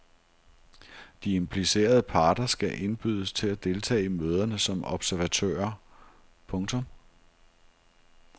De implicerede parter skal indbydes til at deltage i møderne som observatører. punktum